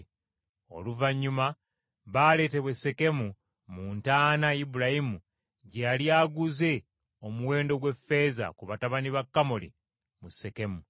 Oluvannyuma baaleetebwa e Sekemu mu ntaana Ibulayimu gye yali aguze omuwendo gw’effeeza, ku batabani ba Kamoli mu Sekemu.